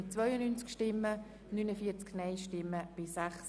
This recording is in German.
Reduktion der Versorgungsbeiträge an Spitex (Massnahme 44.3.7):